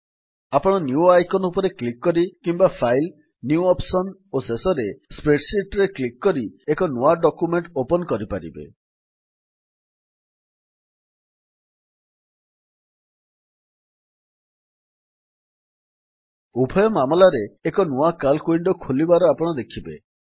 ଆପଣ new icon ରେ click କରି କିମ୍ୱା ଫାଇଲ୍ gt ନ୍ୟୁ ଅପ୍ସନ୍ ଓ ଶେଷରେ ସ୍ପ୍ରେଡସିଟ୍ ରେ କ୍ଲିକ୍ କରି ଏକ ନୂଆ ଡକ୍ୟୁମେଣ୍ଟ୍ ଓପନ୍ କରିପାରିବେ ଜିଟି ଉଭୟ ମାମଲାରେ ଏକ ନୂଆ ସିଏଏଲସି ୱିଣ୍ଡୋ ଖୋଲିବାର ଆପଣ ଦେଖିବେ